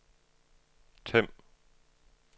Them